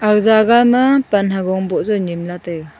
aga jagah ma pan ha gog boh jaw nyem la taiga.